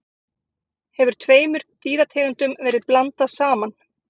hefur tveimur dýrategundum verið blandað saman